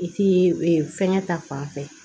I ti fɛngɛ ta fanfɛ